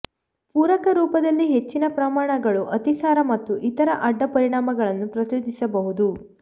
ಪೂರಕ ರೂಪದಲ್ಲಿ ಹೆಚ್ಚಿನ ಪ್ರಮಾಣಗಳು ಅತಿಸಾರ ಮತ್ತು ಇತರ ಅಡ್ಡ ಪರಿಣಾಮಗಳನ್ನು ಪ್ರಚೋದಿಸಬಹುದು